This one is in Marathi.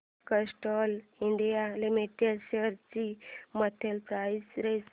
कॅस्ट्रॉल इंडिया लिमिटेड शेअर्स ची मंथली प्राइस रेंज